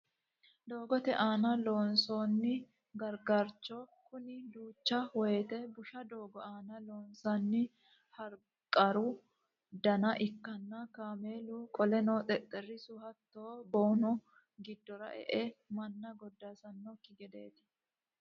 Doogote aana loonsoonni gargaraancho Kuni duucha wote busha doogo aana loonsanni haragaru Dana ikkanna kaameelu qoleno xexerisu hattono boonu giddora e'e manna goddaasanikki gedeeti